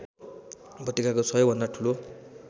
उपत्यकाको सबैभन्दा ठुलो